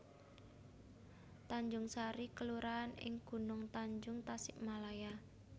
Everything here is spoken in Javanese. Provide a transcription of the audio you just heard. Tanjungsari kelurahan ing Gunungtanjung Tasikmalaya